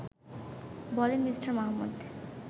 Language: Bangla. বলেন মি. মাহমুদ